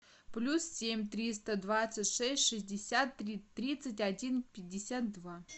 плюс семь триста двадцать шесть шестьдесят три тридцать один пятьдесят два